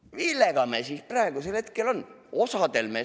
Millega meil siis praegusel hetkel tegemist on?